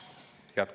Head kolleegid!